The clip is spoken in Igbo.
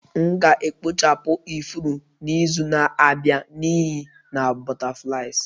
M ga-ekpochapụ ifuru n'izu na-abịa n'ihi na butterflies